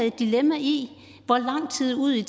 et dilemma i hvor lang tid ud i